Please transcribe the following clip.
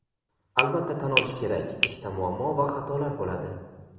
Albatta tan olish kerak ishda muammo va xatolar bo‘ladi.